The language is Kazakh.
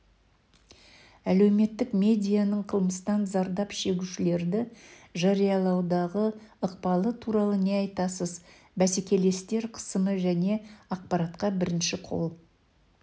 әлеуметтік медианың қылмыстан зардап шегушілерды жариялаудағы ықпалы туралы не айтасыз бәсекелестер қысымы және ақпаратқа бірінші қол